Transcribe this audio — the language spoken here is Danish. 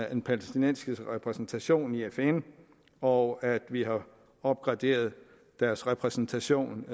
den palæstinensiske repræsentation i fn og at vi har opgraderet deres repræsentation